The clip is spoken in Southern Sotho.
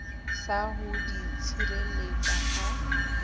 sa ho di tshireletsa ha